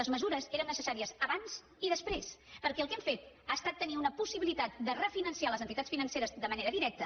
les mesures eren necessàries abans i després perquè el que hem fet ha estat tenir una possibilitat de refinançar les entitats financeres de manera directa